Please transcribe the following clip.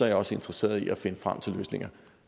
jeg også interesseret i at finde frem til løsninger